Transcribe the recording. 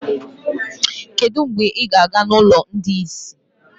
Kedu mgbe ị ga-aga n'ụlọ ndị ìsì?